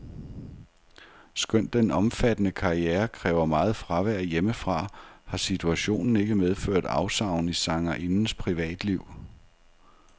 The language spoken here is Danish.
Skønt den omfattende karriere kræver meget fravær hjemmefra, har situationen ikke medført afsavn i sangerindens privatliv.